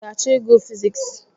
I ga-achọ ịgụ fiziks